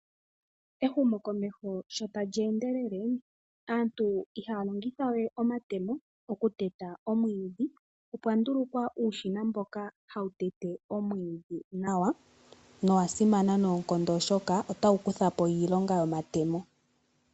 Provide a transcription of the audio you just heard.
Ehumokomeho sho tali endelele aantu ihaya longitha we omatemo okuteta omwiidhi. Opwa ndulukwa uushina mboka hawu tete omwiidhi nawa, no wasimana oshoka otawu kutha po iilonga yomatemo.